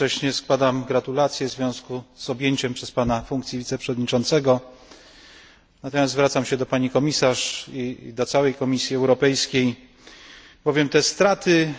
Korzystając z okazji składam gratulacje w związku z objęciem przez Pana funkcji wiceprzewodniczącego, lecz chciałbym zwrócić się do Pani Komisarz i do całej Komisji Europejskiej. Te straty,